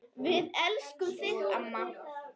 Við elskum þig amma.